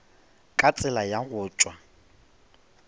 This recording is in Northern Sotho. ka tsela ya go tšwa